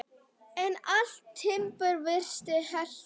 En allt timbur virtist heilt.